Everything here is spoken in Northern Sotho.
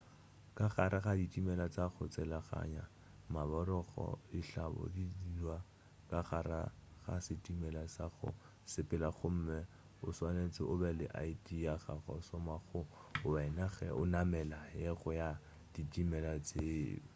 ka gare ga ditimela tša go tselaganya maborogo dihlahlobo di dirwa ka gare ga setimela sa go sepela gomme o swanetše o be le id ya go šoma go wena ge o namela yengwe ya ditimela tše